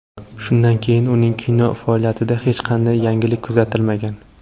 Shundan keyin uning kino faoliyatida hech qanday yangilik kuzatilmagan.